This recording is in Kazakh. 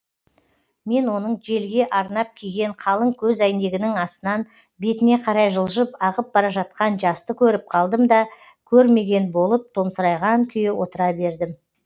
мен оның желге арнап киген қалың көзәйнегінің астынан бетіне қарай жылжып ағып бара жатқан жасты көріп қалдым да көрмеген болып томсырайған күйі отыра бердім